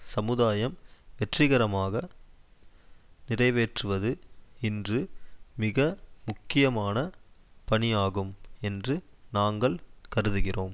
சமுதாயம் வெற்றிகரமாக நிறைவேற்றுவது இன்று மிக முக்கியமான பணியாகும் என்று நாங்கள் கருதுகிறோம்